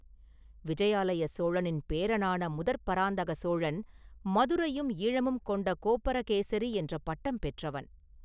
விஜயாலய சோழனின் பேரனான முதற் பராந்தக சோழன் ‘மதுரையும், ஈழமும் கொண்ட கோப்பரகேசரி’ என்ற பட்டம் பெற்றவன்.